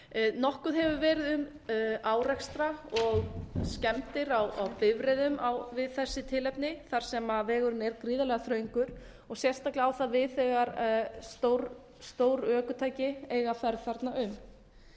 nokkuð hefur verið um árekstra og skemmdir á bifreiðum við þessi tilefni þar sem vegurinn er gríðarlega þröngur og sérstaklega á það við þegar stór ökutæki eiga ferð þarna um